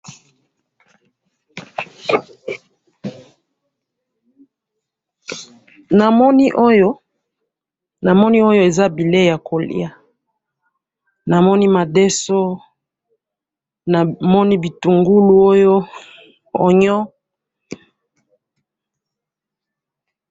namoni oyo namoni oyo eza bileyi ya kolya namoni madeso manoni bitungu oyo onion